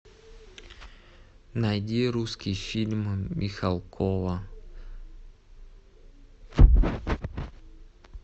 найди русский фильм михалкова